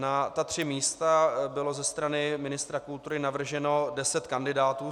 Na ta tři místa bylo ze strany ministra kultury navrženo deset kandidátů.